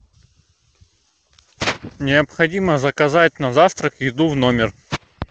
необходимо заказать на завтрак еду в номер